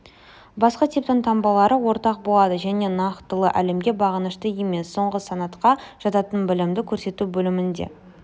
басқы типтің таңбалары ортақ болады және нақтылы әлемге бағынышты емес соңғы санатқа жататын білімді көрсету бөлімде